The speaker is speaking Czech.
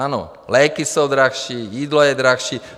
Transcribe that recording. Ano, léky jsou dražší, jídlo je dražší.